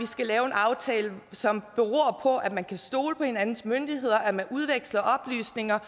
skal lave en aftale som beror på at man kan stole på hinandens myndigheder og at man udveksler oplysninger